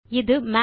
இது மாத்